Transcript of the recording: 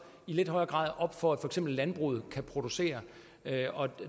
i lidt højere grad op for at for eksempel landbruget kan producere og